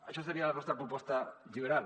això seria la nostra proposta lliberal